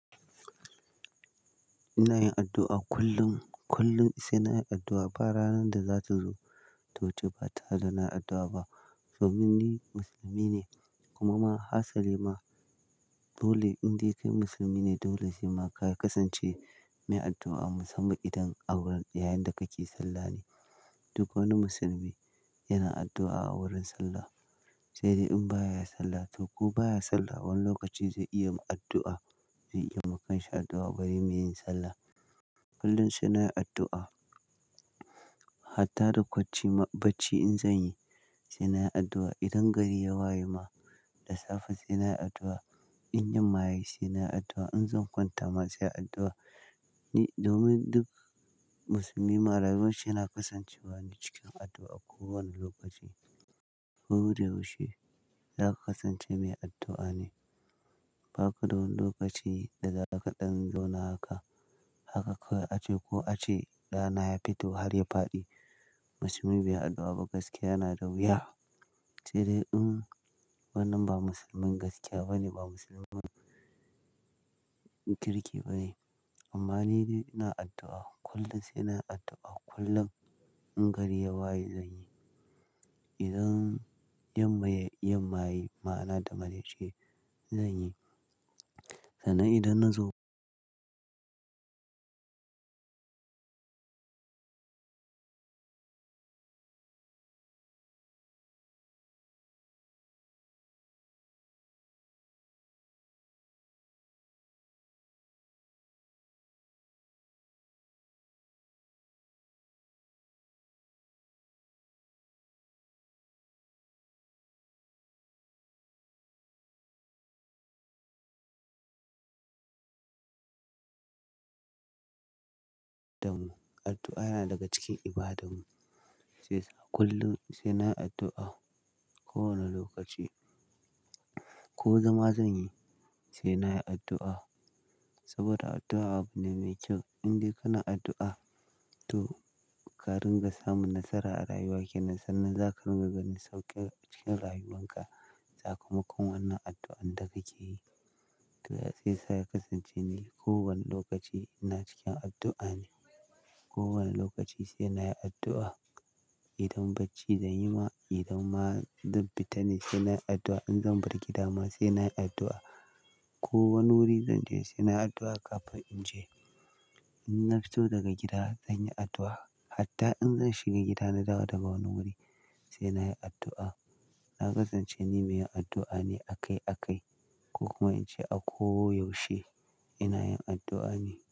Ina yin addu'a kullum, kullum sai na yi addu'a. Ba ranar da za ta zo to ji ba, ta haka na addu'a ba. Domin ni musulmi ne kuma ma hasali ma dole, in dai kai musulmi ne, dole shi ma ka kasance mai addu'a musamman idan a wurin, yayin da kake sallah ne. Duk wani musulmi yana addu'a a wurin sallah. Sai dai in baya yi sallah to ko baya sallah, wani lokaci zai iya addu'a, zai iya makansa addu'a bare meyin sallah. Kullum sai na yi addu'a. Hatta da kwacci bacci in zan yi, sai na yi addu'a. Idan gari ya waye ma da safe, sai na yi addu'a. In yammaya yi sai na yi addu'a. In zan kwanta ma sai addu'a. Ni domin duk musulmi ma rayuwanshi yana kasancewa ne cikin addu'a kowane lokaci. Ko da yaushe, za ka kasance mai addu'a ne. Ba ka da wani lokaci da za ka ɗan lona haka, haka ka a ce ko a ce rana ya fito har ya faɗi, musulmi bai addu'a ba gaskiya yana da wuya. Sai dai in wannan ba musulmin gaskiya ba ne, ba musulmin kirki ba ne. Amma nidai ina addu'a kullum, sai na addu'a kullum. In gari ya waye, zan yi. Idan yammaye, yammaya ma ana da manajai, zan yi. Sannan idan na zo daman, addu'a yana daga cikin ibadarmu. Shiyasa kullum sai na yi addu'a kowane lokaci. Ko zama zan yi, sai na yi addu'a. Saboda addu'a abu ne mai kyau. In dai kana addu'a to ka ringa samun nasara a rayuwarka nan, sannan za ka ringa ganin sauƙi cikin rayuwanka. Za kuma ko wanda addu'ar da kake yi. To ya sai sai ka kasance ne kowane lokaci ina cikin addu'a ne. Kowane lokaci sai na yi addu'a. Idan bacci zan yi ma, idan ma zan fita ne, sai na yi addu'a. In zan bar gida ma, sai na yi addu'a. Ko wani wuri zan je, sai na yi addu'a kafin in je. In na fito daga gida, zan yi addu'a. Hatta in zan shiga gida na dawo daga wani wuri, sai na yi addu'a. Na kasance ni mai yin addu'a ne akai akai. Ko kuma in ce a ko yaushe ina yin addu'a ne.